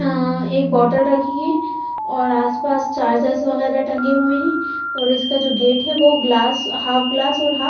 अ एक बोटल रखी हैऔर आसपास चार्जेर्स वगैरह टंगे हुए हैंऔर इसका जो गेट है वो ग्लास हाफ ग्लास और हाफ--